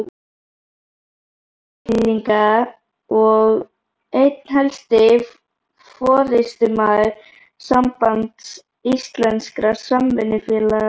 Eyfirðinga og einn helsti forystumaður Sambands íslenskra samvinnufélaga.